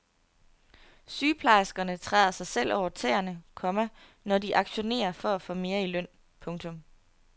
Sygeplejerskerne træder sig selv over tæerne, komma når de aktionerer for at få mere i løn. punktum